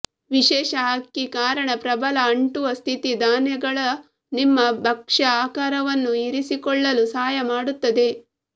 ವಿಶೇಷ ಅಕ್ಕಿ ಕಾರಣ ಪ್ರಬಲ ಅಂಟುವ ಸ್ಥಿತಿ ಧಾನ್ಯಗಳ ನಿಮ್ಮ ಭಕ್ಷ್ಯ ಆಕಾರವನ್ನು ಇರಿಸಿಕೊಳ್ಳಲು ಸಹಾಯ ಮಾಡುತ್ತದೆ